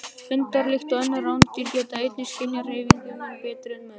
Hundar, líkt og önnur rándýr, geta einnig skynjað hreyfingu mun betur en menn.